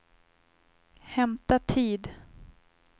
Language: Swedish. hämta tid